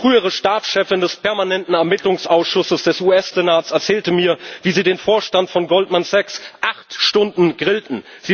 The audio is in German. Die frühere Stabschefin des permanenten Ermittlungsausschusses des US Senats erzählte mir, wie sie den Vorstand von Goldman Sachs acht Stunden grillten.